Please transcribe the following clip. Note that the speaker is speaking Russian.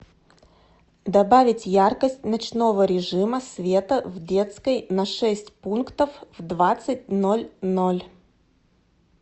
добавить яркость ночного режима света в детской на шесть пунктов в двадцать ноль ноль